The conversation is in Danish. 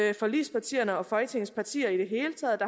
vi forligspartierne og folketingets partier i det hele taget